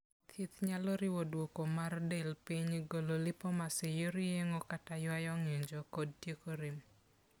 Thieth nyalo riwo dwoko mar del piny; golo lipomas e yor yeng'o kata ywayo ng'injo; kod tieko rem.